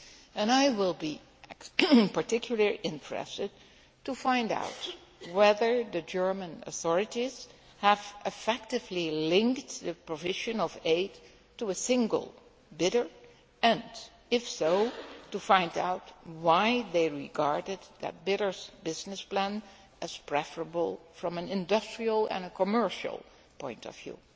And I will be particularly interested to find out whether the German authorities have effectively linked the provision of aid to a single bidder and, if so, to find out why they regarded that bidder's business plan as preferable from an industrial and commercial point of view.